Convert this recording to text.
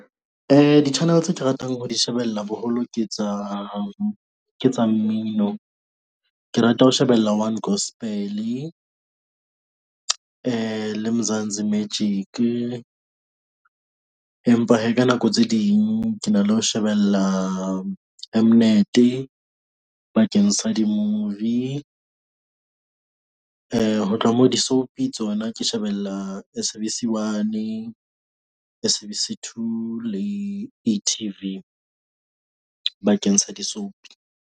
Di-channel tse ke ratang ho di shebella boholo ke tsa ke tsa mmino. Ke rata ho shebella One Gospel-e le Mzansi Magic-e. Empa hee, ka nako tse ding ke na le ho shebella M-Net-e bakeng sa di-movie . Ho tloha moo, di-soapie tsona ke shebella S_A_B_C one, S_A_B_C two le etv bakeng sa di-soapie.